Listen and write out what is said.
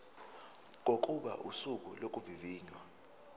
kokuba usuku lokuvivinywa